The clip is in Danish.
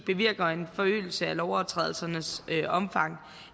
bevirker en forøgelse af lovovertrædelsernes omfang